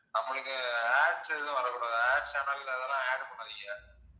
நம்பளுக்கு Ads எதுவும் வரக் கூடாது Ads channel அதெல்லாம் add பண்ணாதிங்க